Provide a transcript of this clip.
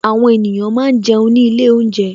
Àwọn ènìyàn máa ń jẹun ní ilé olounje